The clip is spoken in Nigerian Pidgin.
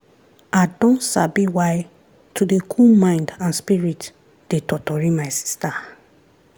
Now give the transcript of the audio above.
i don sabi why to dey cool mind and spirit dey totori my sister.